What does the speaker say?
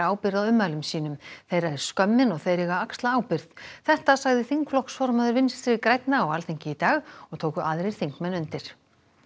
ábyrgð á ummælum sínum þeirra er skömmin og þeir eiga að axla ábyrgð þetta sagði þingflokksformaður Vinstri grænna á Alþingi í dag og tóku aðrir þingmenn undir